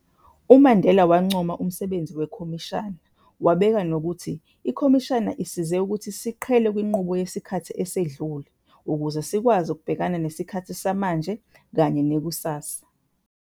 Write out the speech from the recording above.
UMandela wancoma umsebenzi weKhomishana, wabeka nokuthi, ikhomishana "isize ukuthi siqhele kwinqubo yesikhathi esedlule, ukuze sikwazi ukubhekana nesikhathi samanje kanye nekusasa".